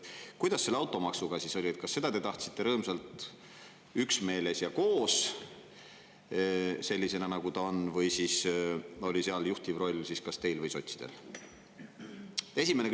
Kuidas selle automaksuga oli: kas seda te tahtsite rõõmsalt üksmeeles ja koos, sellisena nagu ta on, või oli seal juhtiv roll kas teil või sotsidel?